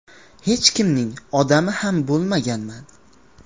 Hech kimning ‘odami’ ham bo‘lmaganman.